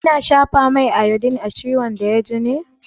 Ana shafa mai iodine a ciwon da ya ji ne?